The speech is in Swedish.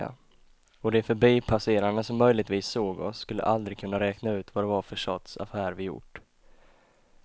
Och de förbipasserande som möjligtvis såg oss skulle aldrig kunna räkna ut vad det var för sorts affär vi gjort.